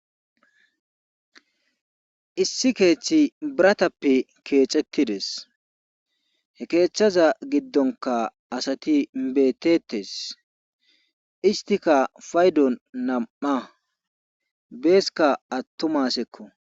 issi keeththi biratappe keecettides he keechthaza giddonka asati beetettes istika paydon nam7a beeska attomasekko